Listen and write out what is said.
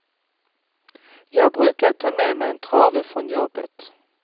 Jag brukade ta med mig en trave från jobbet.